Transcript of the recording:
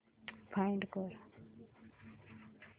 find कर